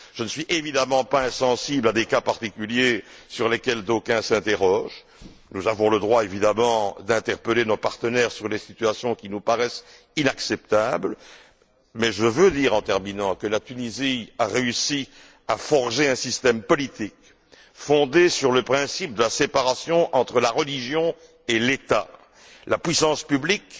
Je ne suis évidemment pas insensible à des cas particuliers sur lesquels d'aucuns s'interrogent. Nous avons le droit, évidemment, d'interpeller nos partenaires sur les situations qui nous paraissent inacceptables, mais je veux dire, pour terminer, que la Tunisie a réussi à forger un système politique fondé sur le principe de la séparation entre la religion et l'État. La puissance publique,